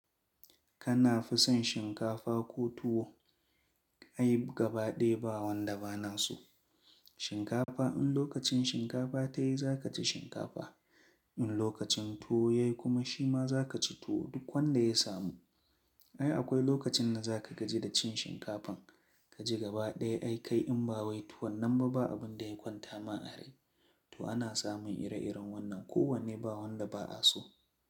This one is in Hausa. Kana fison shinkafa ko tuwo? Ai gaba ɗaya ba wanda ba na so Shinkafa in lokacin shinkafa ta yi za ka ci shinkafa. In lokacin tuwo ya yi kuma shi ma za ka ci tuwo duk wanda ya samu. Ai akwai lokacin da za ka gaji da cin shinkafan ka ji gaba ɗaya ai kai in ba wai tuwon nan ba abin da ya kwanta ma a rai. To ana samun ire-iren wannan kowanne ba wanda ba a so.